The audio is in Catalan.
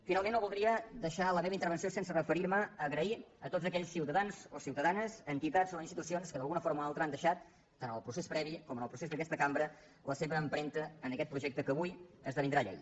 finalment no voldria deixar la meva intervenció sense referir me a agrair a tots aquells ciutadans o ciutadanes entitats o institucions que d’alguna forma o altra han deixat tant en el procés previ com en el procés d’aquesta cambra la seva empremta en aquest projecte que avui esdevindrà llei